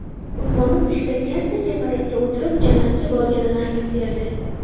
Uyg‘onib tushida katta kapalakka o‘tirib jannatga borganini aytib berdi.